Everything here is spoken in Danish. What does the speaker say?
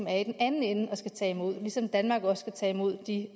er i den anden ende og som skal tage imod dem ligesom danmark også skal tage imod de